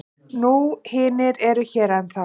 Nú hinir eru hér ennþá.